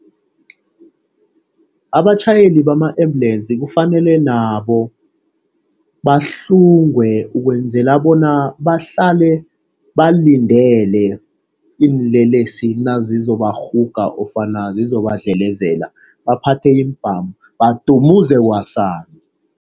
Abatjhayeli bama ambulensi kufanele nabo buhlungwe ukwenzela bona bahlale balindele iinlelesi nazizobarhuga ofana zizobadlelezela. Baphathe iimbhamu badumuze kwasani.